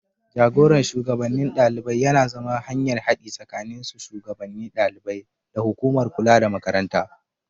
Jagoran shugabannin ɗalibai yana zama hanyar haɗi tsakanin su shugannin ɗaliban da hukumar kula da Makaranta.